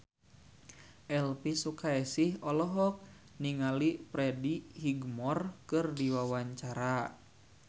Elvy Sukaesih olohok ningali Freddie Highmore keur diwawancara